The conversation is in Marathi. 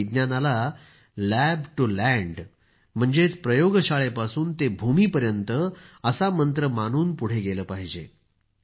आपण विज्ञानाला लॅब टू लँड म्हणजेच प्रयोगशाळेपासून ते भूमीपर्यंत असा मंत्र मानून पुढं नेलं पाहिजे